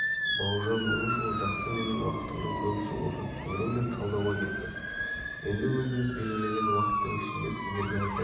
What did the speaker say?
бауыржан момышұлы жақсы менің уақытымның көбісі осы түсіндіру мен талдауға кетті енді өзіміз белгілеген уақыттың ішінде сіздерге айтайын